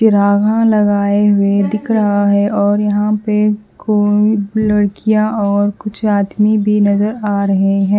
लगाए हुए दिख रहा है और यहां पे कोई लड़कियां और कुछ आदमी भी नजर आ रहे हैं।